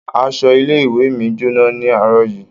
Aṣọ ilé-ìwé mi jóná ní àárọ̀ yìí.